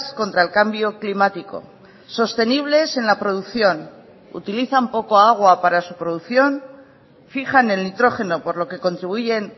contra el cambio climático sostenibles en la producción utilizan poco agua para su producción fijan el nitrógeno por lo que contribuyen